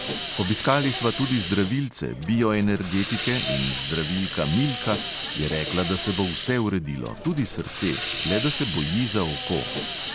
"Obiskali sva tudi zdravilce, bioenergetike in zdravilka milka je rekla, da se bo vse uredilo, tudi srce, le da se boji za oko."